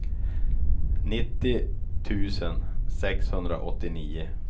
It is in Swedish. nittio tusen sexhundraåttionio